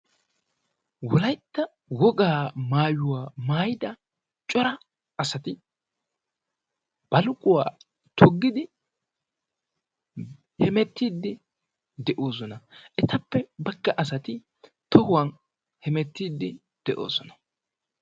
Wolaytta wogaa maayuwaa mayyidia cora asati baluquwaa toggidi hemettidi de'oosona. etappe bagga asati tohuwan hemeettide de'oosona